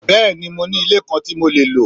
Bẹ́ẹ̀ni, mo ni ilé kan ti mo le lo.